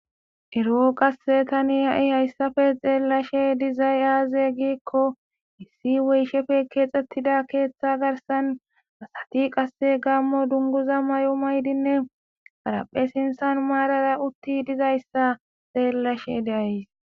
Ero7o qasse tani ha7i hayssafe xeellashe dizay aaze giikko issi weyshefe keexxettida keeththa garsan asati qasse gammo dunguza may7o maydinne paraphe sinsan maarara utti dizayssa xeellashe deays.